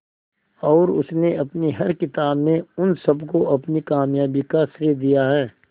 और उसने अपनी हर किताब में उन सबको अपनी कामयाबी का श्रेय दिया है